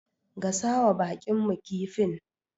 Gasawa baƙinmu kifin.